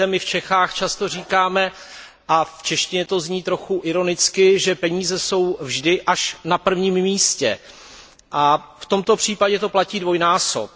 Víte, my v Čechách často říkáme a v češtině to zní trochu ironicky, že peníze jsou vždy až na prvním místě a v tomto případě to platí dvojnásob.